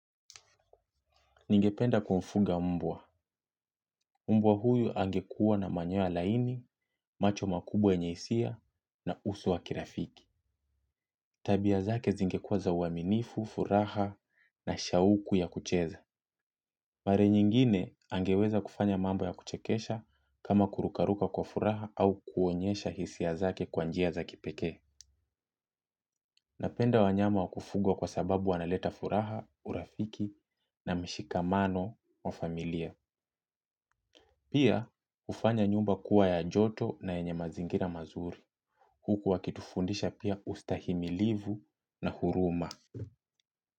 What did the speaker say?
Ningependa kuwafuga mbwa. Mbwa huyu angekua na manyoya laini, macho makubwa yenye hisia na uso wa kirafiki. Tabia zake zingekuwa za uaminifu, furaha na shauku ya kucheza. Mara nyingine angeweza kufanya mambo ya kuchekesha kama kurukaruka kwa furaha au kuonyesha hisia zake kwa njia za kipekee. Napenda wanyama wa kufuga kwa sababu wanaleta furaha urafiki na mshikamano wa familia. Pia hufanya nyumba kuwa ya joto na yenye mazingira mazuri huku wakitufundisha pia ustahimilivu na huruma.